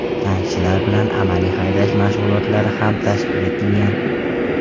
Tankchilar bilan amaliy haydash mashg‘ulotlari ham tashkil etilgan.